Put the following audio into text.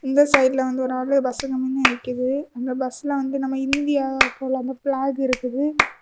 இந்த சைடுல வந்து ஒரு ஆளு பஸ்ஸுக்கு முன்ன நிக்குது அந்த பஸ்ல வந்து நம்ம இந்தியா போல பிளாக் இருக்குது.